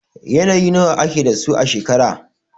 Yanayi nawa ake da su a shekara?